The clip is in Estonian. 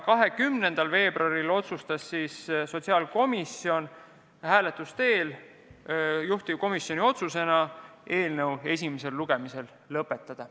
20. veebruaril otsustas sotsiaalkomisjon hääletuse teel, et juhtivkomisjoni ettepanek on eelnõu esimene lugemine lõpetada.